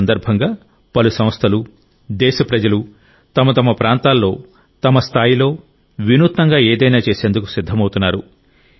ఈ సందర్భంగా పలు సంస్థలు దేశప్రజలు తమ తమ ప్రాంతాల్లో తమ స్థాయిలో వినూత్నంగా ఏదైనా చేసేందుకు సిద్ధమవుతున్నారు